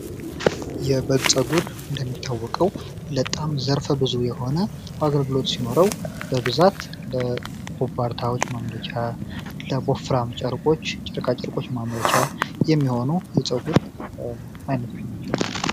የበግ ፀጉር እንታወቀው በጣም ዘርፈ ብዙ የሆነ አገልግሎት ሲኖረው በብዛት ማምለጫ ቦፍራም ጨርቆች ጨርቃ ጨርቆች መመሪያ የሚሆኑ የፀጉር አይነቶች